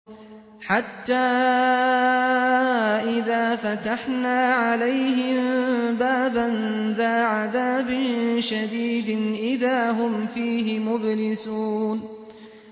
حَتَّىٰ إِذَا فَتَحْنَا عَلَيْهِم بَابًا ذَا عَذَابٍ شَدِيدٍ إِذَا هُمْ فِيهِ مُبْلِسُونَ